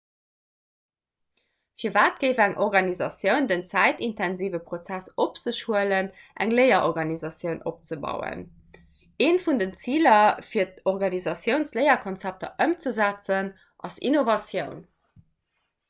firwat géif eng organisatioun den zäitintensive prozess op sech huelen eng léierorganisatioun opzebauen eent vun den ziler fir organisatiounsléierkonzepter ëmzesetzen ass innovatioun